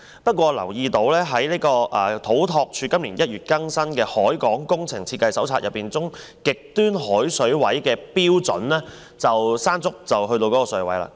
不過，我留意到土木工程拓展署今年1月更新的《海港工程設計手冊》中極端海水位的標準，今次颱風"山竹"便已經達到。